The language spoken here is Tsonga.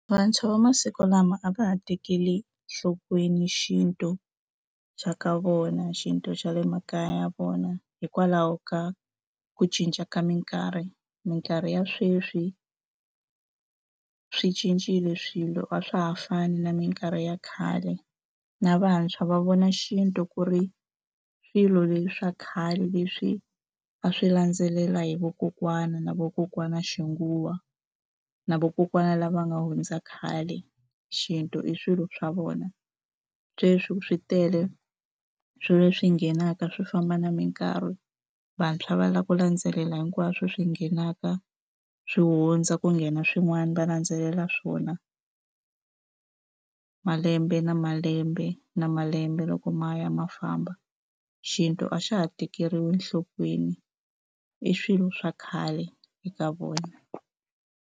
Vantshwa va masiku lama a va ha tekeli enhlokweni xintu xa ka vona, xintu xa le makaya ya vona hikwalaho ka ku cinca ka mikarhi. Mikarhi ya sweswi a swi cincile swilo a swa ha fani na mikarhi ya khale, na vantshwa va vona xintu ku ri swilo leswi swa khale leswi a swi landzelela hi vakokwani, na vakokwana xinguwen na va vakokwana lava nga hundza khale, xintu i swilo swa vona. Sweswo swi tele swilo leswi nghenaka swi famba na minkarhi. Vantshwa va lava ku landzelela hinkwaswo swi nghenaka, swi hundza ku nghena swin'wana va landzelela swona. Malembe na malembe na malembe loko ma ya ma famba, xintu a xa ha tekeriwi enhlokweni i swilo swa khale eka vona.